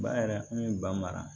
Ba yɛrɛ kun ye ba mara